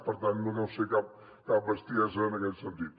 per tant no deu ser cap cap bestiesa en aquest sentit